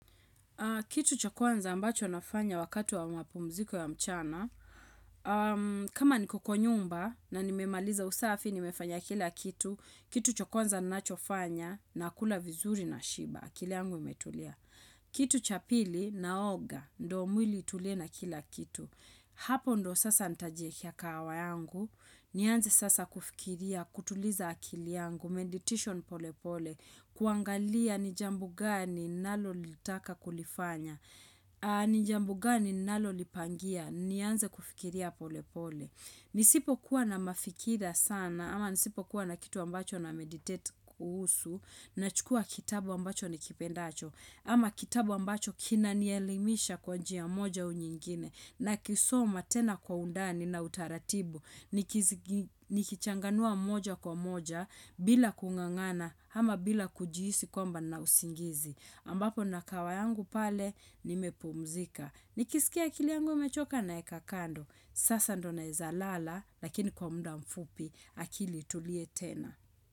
Kitu cha kwanza ambacho nafanya wakati wa mapumziko ya mchana. Kama niko kwa nyumba na nimemaliza usafi, nimefanya kila kitu. Kitu cha kwanza ninachofanya nakula vizuri nashiba. Akili yangu imetulia. Kitu cha pili naoga, ndo mwili itulie na kila kitu. Hapo ndo sasa nitajiekea kahawa yangu, nianze sasa kufikiria, kutuliza akili yangu, meditation pole pole, kuangalia ni jambo gani ninalolitaka kulifanya, ni jambo gani ninalalolipangia, nianze kufikiria pole pole. Nisipokuwa na mafikira sana ama nisipokuwa na kitu ambacho na meditate kuhusu nachukua kitabu ambacho nikipendacho ama kitabu ambacho kinanielimisha kwa njia moja au nyingine nakisoma tena kwa undani na utaratibu nikichanganua moja kwa moja bila kungangana ama bila kujihisi kwamba nina usingizi ambapo nina kawa yangu pale nimepumzika. Nikisikia akili yangu imechoka naeka kando. Sasa ndo naeza lala lakini kwa muda mfupi akili itulie tena.